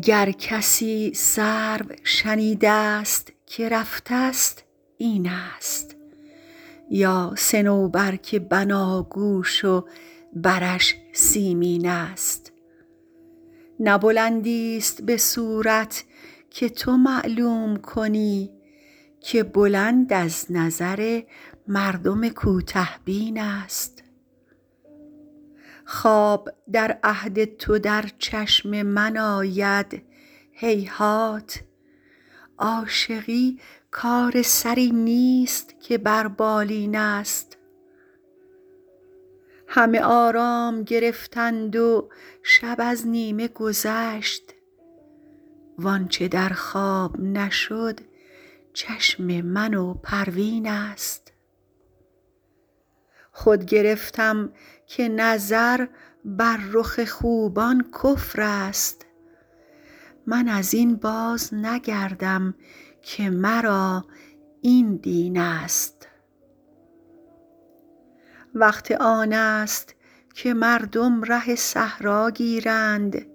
گر کسی سرو شنیده ست که رفته ست این است یا صنوبر که بناگوش و برش سیمین است نه بلندیست به صورت که تو معلوم کنی که بلند از نظر مردم کوته بین است خواب در عهد تو در چشم من آید هیهات عاشقی کار سری نیست که بر بالین است همه آرام گرفتند و شب از نیمه گذشت وآنچه در خواب نشد چشم من و پروین است خود گرفتم که نظر بر رخ خوبان کفر است من از این بازنگردم که مرا این دین است وقت آن است که مردم ره صحرا گیرند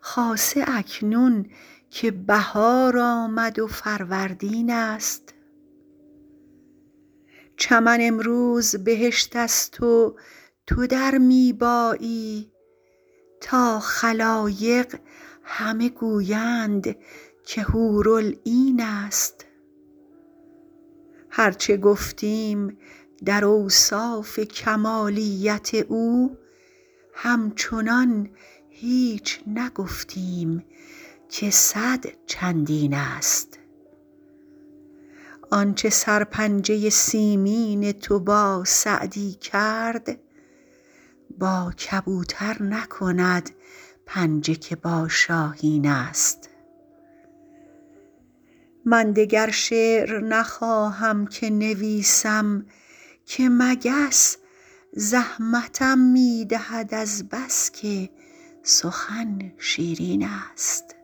خاصه اکنون که بهار آمد و فروردین است چمن امروز بهشت است و تو در می بایی تا خلایق همه گویند که حورالعین است هر چه گفتیم در اوصاف کمالیت او همچنان هیچ نگفتیم که صد چندین است آنچه سرپنجه سیمین تو با سعدی کرد با کبوتر نکند پنجه که با شاهین است من دگر شعر نخواهم که نویسم که مگس زحمتم می دهد از بس که سخن شیرین است